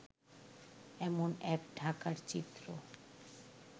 এমন এক ঢাকার চিত্র